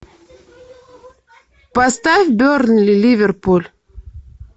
поставь бернли ливерпуль